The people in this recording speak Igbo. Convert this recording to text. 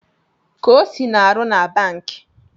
Kosi na-aru na banki